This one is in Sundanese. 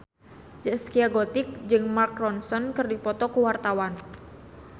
Zaskia Gotik jeung Mark Ronson keur dipoto ku wartawan